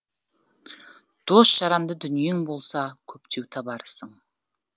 дос жаранды дүниең болса көптеу табарсың